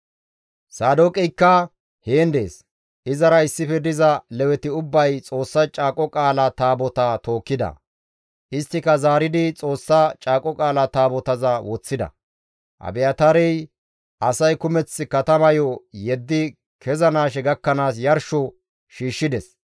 Saadooqeykka heen dees; izara issife diza Leweti ubbay Xoossa Caaqo Qaala Taabotaa tookkida; isttika zaaridi Xoossa Caaqo Qaala Taabotaza woththida; Abiyaataarey asay kumeth katamayo yeddi kezanaashe gakkanaas yarsho shiishshides.